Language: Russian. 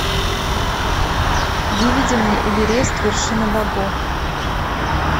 выведи мне эверест вершина богов